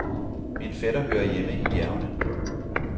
Min fætter hører hjemme i bjergene.